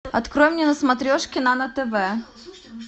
открой мне на смотрешке нано тв